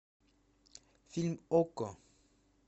фильм окко